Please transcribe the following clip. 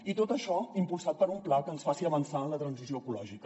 i tot això impulsat per un pla que ens faci avançar en la transició ecològica